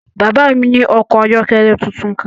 Bàbá mi ní ọkọ̀ ayọ́kẹ́lẹ́ tuntun kan.